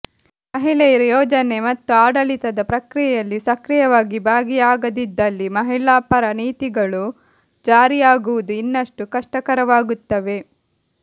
ಮಹಿಳೆಯರು ಯೋಜನೆ ಮತ್ತು ಆಡಳಿತದ ಪ್ರಕ್ರಿಯೆಯಲ್ಲಿ ಸಕ್ರಿಯವಾಗಿ ಭಾಗಿಯಾಗದಿದ್ದಲ್ಲಿ ಮಹಿಳಾ ಪರ ನೀತಿಗಳು ಜಾರಿಯಾಗುವುದು ಇನ್ನಷ್ಟು ಕಷ್ಟಕರವಾಗುತ್ತವೆ